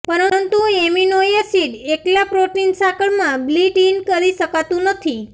પરંતુ amino acid એકલા protein સાંકળ માં બિલ્ટ ઇન કરી શકાતું નથી